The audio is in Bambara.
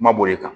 Kuma b'o de kan